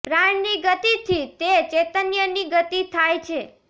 પ્રાણ ની ગતિથી તે ચૈતન્ય ની ગતિ થાય છે